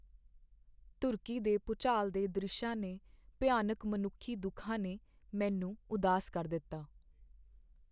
ਤੁਰਕੀ ਦੇ ਭੂਚਾਲ ਦੇ ਦ੍ਰਿਸ਼ਾਂ ਨੇ ਭਿਆਨਕ ਮਨੁੱਖੀ ਦੁੱਖਾਂ ਨੇ ਮੈਨੂੰ ਉਦਾਸ ਕਰ ਦਿੱਤਾ।